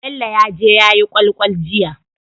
Bello yaje yayi kwal kwal jiya